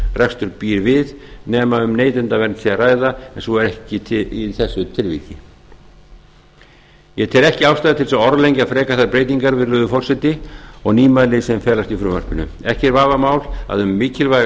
atvinnurekstur býr við nema um neytendavernd sé að ræða en svo er ekki í þessu tilviki eg tel ekki ástæðu til að orðlengja frekar þær breytingar virðulegi forseti og nýmæli sem felast í frumvarpinu ekki er vafamál að um mikilvæga